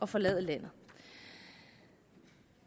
forlade landet